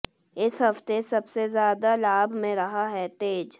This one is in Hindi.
इस हफ्ते सबसे ज्यादा लाभ में रहा है तेज